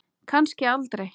Kannski aldrei.